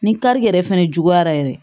Ni kari yɛrɛ fɛnɛ juguyara yɛrɛ